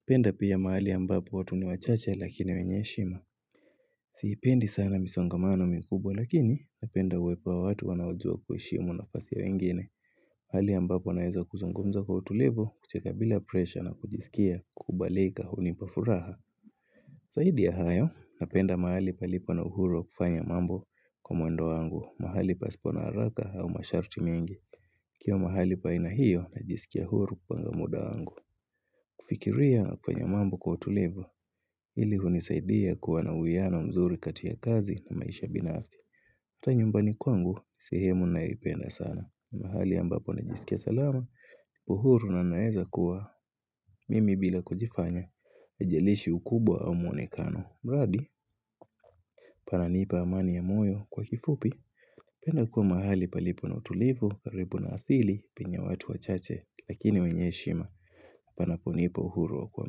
Napenda pia mahali ambapo watu ni wachache lakini wenye heshima Sipendi sana misongamano mikubwa lakini napenda uwepo wa watu wanaojua kuheshimu nafasi ya wengine. Hali ambapo naeza kuzungumza kwa utulivu, kucheka bila presha na kujisikia kukubalika hunipa furaha. Zaidi ya hayo napenda mahali palipo na uhuru wa kufanya mambo kwa mwendo wangu. Mahali pasipo na haraka au masharti mengi. Nikiwa mahali pa aina hiyo najisikia huru kwa muda wangu. Kufikiria na kufanya mambo kwa utulivu, hili hunisaidia kuwa na uwiano mzuri kati ya kazi na maisha binafsi. Hata nyumbani kwangu sehemu nayoipenda sana. Mahali ambapo najisikia salama uhuru na naeza kuwa mimi bila kujifanya. Haijalishi ukubwa au mwonekano, mradi, pananipa amani ya moyo. Kwa kifupi napenda kuwa mahali palipo na utulivu, palipo na asili penye watu wachache, lakini wenye heshima. Panaponipa uhuru wa kuwa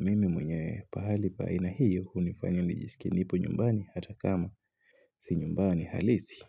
mimi mwenye, pahali pa aina hiyo hunifanya nijisikie nipo nyumbani hata kama si nyumbani halisi.